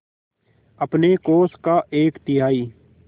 अपने कोष का एक तिहाई